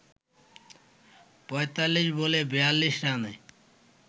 ৪৫ বলে ৪২ রানের